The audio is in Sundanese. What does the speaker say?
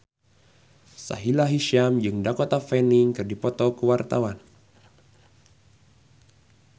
Sahila Hisyam jeung Dakota Fanning keur dipoto ku wartawan